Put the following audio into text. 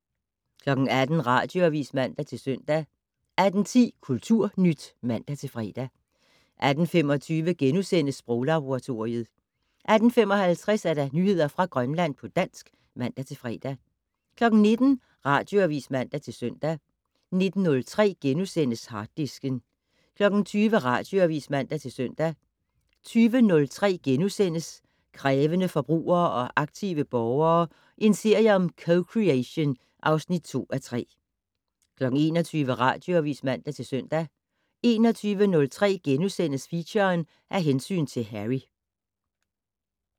18:00: Radioavis (man-søn) 18:10: Kulturnyt (man-fre) 18:25: Sproglaboratoriet * 18:55: Nyheder fra Grønland på dansk (man-fre) 19:00: Radioavis (man-søn) 19:03: Harddisken * 20:00: Radioavis (man-søn) 20:03: Krævende forbrugere og aktive borgere - en serie om co-creation (2:3)* 21:00: Radioavis (man-søn) 21:03: Feature: Af hensyn til Harry *